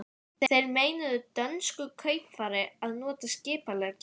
Þeir meinuðu dönsku kaupfari að nota skipalægið.